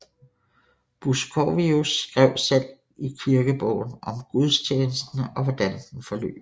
Buskovius skrev selv i kirkebogen om gudstjenesten og hvordan den forløb